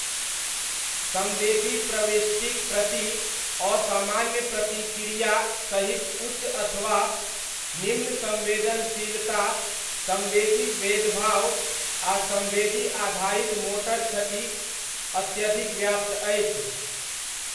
सम्वेदी प्रविष्टिक प्रति असामान्य प्रतिक्रया सहित उच्च अथवा निम्न सम्वेदनशीलता, सम्वेदी भेदभाव आ सम्वेदी आधारित मोटर क्षति अत्यधिक व्याप्त अछि।